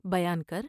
بیان کر ''